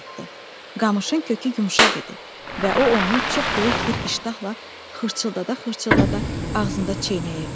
Qamışın kökü yumşaq idi və o onu çox böyük bir iştahla xırçıldada-xırçıldada ağzında çeynəyirdi.